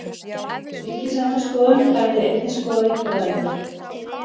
Ríkisendurskoðun hefði einnig skoða einkavæðingu